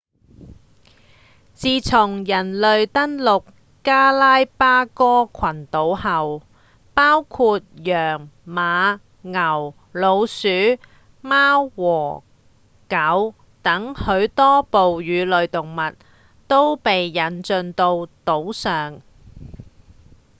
自從人類登陸加拉巴哥群島後包括羊、馬、牛、老鼠、貓和狗等許多哺乳動物都被引進到島上